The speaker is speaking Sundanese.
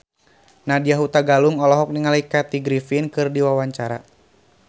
Nadya Hutagalung olohok ningali Kathy Griffin keur diwawancara